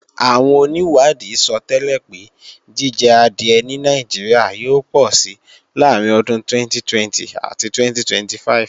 Àwọn onìwádìí sọtẹ́lẹ̀ pé jíjẹ adìẹ ní Nàìjíríà yóò pọ̀si láàrín ọdún 2020 àti 2025